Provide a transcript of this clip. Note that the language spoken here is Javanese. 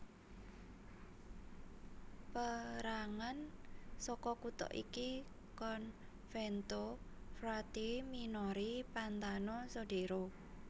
Pérangan saka kutha iki Convento frati minori Pantano Sodero